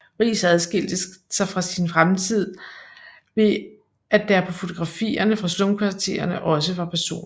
Riis adskilte sig fra sin samtid ved at der på fotografierne fra slumkvartererne også var personer